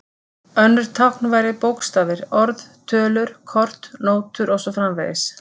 Önnur tákn væru bókstafir, orð, tölur, kort, nótur og svo framvegis.